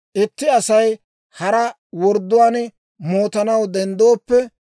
«Itti Asay haraa wordduwaan mootanaw denddooppe,